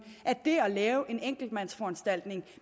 at det at lave en enkeltmandsforanstaltning